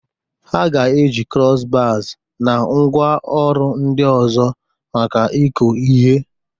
Ha ga-eji cross-bars na ngwaọrụ ndị ọzọ maka ịkụ ihe.